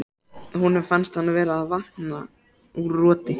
Honum finnst hann vera að vakna úr roti.